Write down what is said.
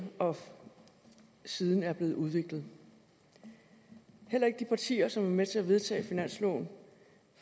og siden er blevet udviklet heller ikke de partier som var med til at vedtage finansloven